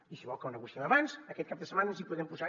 i si vol que el negociem abans aquest cap de setmana ens hi podem posar